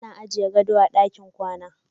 Ana iya ajiye gado a cikin ɗakin kwana.